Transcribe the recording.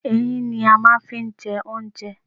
Eyín ni a máa n fi n je oúnjẹ